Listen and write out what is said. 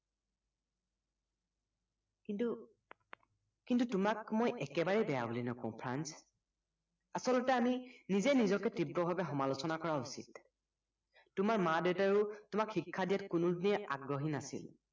কিন্তু কিন্তু তোমাক মই একেবাৰে বেয়া বুলি নকও ফ্ৰাঞ্চ আচলতে আমি নিজে নিজকে তীব্ৰভাৱে সমালোচনা কৰা উচিত তোমাৰ মা-দেউতাইও তোমাক শিক্ষা দিয়াত কোনোদিনেই আগ্ৰহী নাছিল